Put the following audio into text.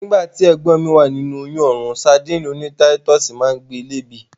Nígbàtí, ẹ̀gbọ́n mi wà nínu oyún òórùn sadíìnì oní táítọ̀sì máa ń gbe lé èébì.